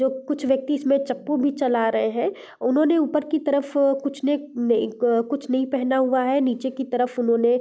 जो कुछ व्यक्ति इसमें चकू भी चला रहे है उन्होंने ऊपर की तरफ कुछ नहीं अ कुछ नहीं पहना हुआ है निचे की तरफ उन्होंने --